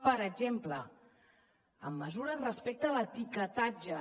per exemple amb mesures respecte a l’etiquetatge